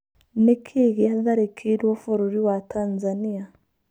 Nĩkĩĩ gĩatharĩkĩirwo bũrũri wa Tanzania?